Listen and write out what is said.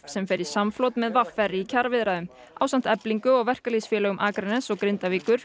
sem fer í samflot með v r í kjaraviðræðum ásamt Eflingu verkalýðsfélögum Akraness og Grindavíkur